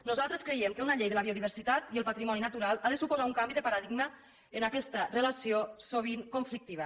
nosaltres creiem que una llei de la biodiversitat i el patrimoni natural ha de suposar un canvi de paradigma en aquesta relació sovint conflictiva